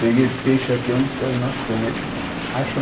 Peguei peixe aqui onde és, nós estamos. Eles acham